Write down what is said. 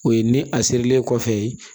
O ye ni a sirilen kɔfɛ